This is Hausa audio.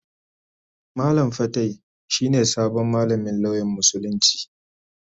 Malam fatai shi ne sabon malamin lauyan Musulunci.